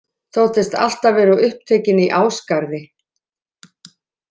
Þóttist alltaf vera of upptekinn í Ásgarði.